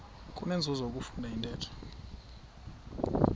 kunenzuzo ukufunda intetho